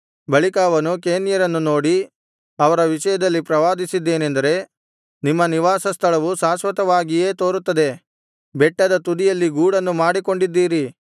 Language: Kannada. ಬಳಿಕ ಅವನು ಕೇನ್ಯರನ್ನು ನೋಡಿ ಅವರ ವಿಷಯದಲ್ಲಿ ಪ್ರವಾದಿಸಿದ್ದೇನೆಂದರೆ ನಿಮ್ಮ ನಿವಾಸ ಸ್ಥಳವು ಶಾಶ್ವತವಾಗಿಯೇ ತೋರುತ್ತದೆ ಬೆಟ್ಟದ ತುದಿಯಲ್ಲಿ ಗೂಡನ್ನು ಮಾಡಿಕೊಂಡಿದ್ದೀರಿ